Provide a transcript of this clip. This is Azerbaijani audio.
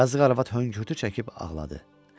Yazıq arvad höngürtü çəkib ağladı.